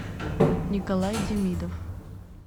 николай демидов